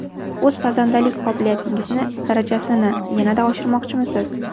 O‘z pazandalik qobiliyatingizni darajasini yanada oshirmoqchimisiz?